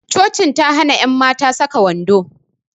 Cocin ta hana ƴan mata saka wando